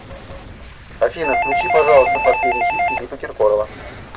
афина включи пожалуйста последний хит филиппа киркорова